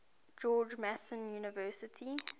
george mason university